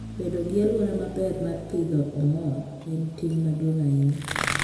Bedo gi alwora maber mar pidho ong'or en ting' maduong' ahinya.